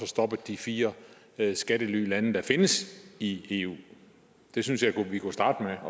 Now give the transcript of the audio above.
stoppet de fire skattelylande der findes i eu jeg synes at vi kunne starte